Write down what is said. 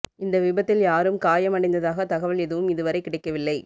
இந்த விபத்தில் யாரும் காயம் அடைந்ததாக தகவல் எதுவும் இதுவரை கிடைக்கவில்லை